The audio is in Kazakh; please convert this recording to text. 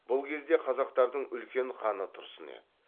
бұл кезде қазақтардың үлкен ханы тұрсын еді